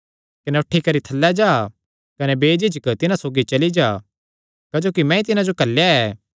कने उठी करी थल्लै जा कने बेझिझक तिन्हां सौगी चली जा क्जोकि मैंई तिन्हां जो घल्लेया ऐ